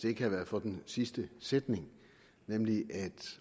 ikke havde været for den sidste sætning nemlig at